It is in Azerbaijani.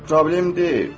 Problem deyil.